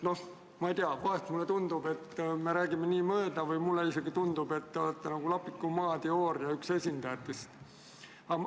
Ma ei tea, vahel mulle tundub, et me räägime üksteisest mööda, või mulle isegi tundub, et te olete üks lapiku Maa teooria esindajatest.